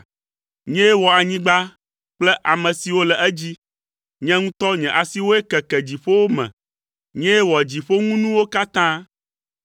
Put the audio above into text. Nyee wɔ anyigba kple ame siwo le edzi. Nye ŋutɔ nye asiwoe keke dziƒowo me. Nyee wɔ dziƒoŋunuwo katã.